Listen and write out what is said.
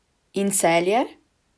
In Celje?